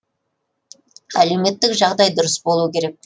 әлеуметтік жағдай дұрыс болу керек